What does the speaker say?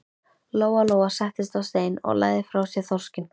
Lóa Lóa settist á stein og lagði frá sér þorskinn.